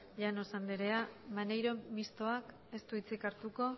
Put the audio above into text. llanos andrea maneiro mistoak ez du hitzik hartuko